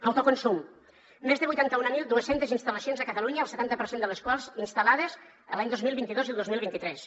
autoconsum més de vuit cents i mil dos cents instal·lacions a catalunya el setanta per cent de les quals instal·lades l’any dos mil vint dos i el dos mil vint tres